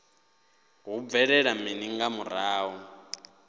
hu bvelela mini nga murahu